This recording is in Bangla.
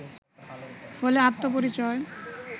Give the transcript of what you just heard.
ফলে আত্মপরিচয়